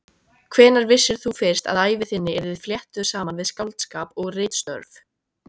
Hvenær vissir þú fyrst að ævi þín yrði fléttuð saman við skáldskap og ritstörf?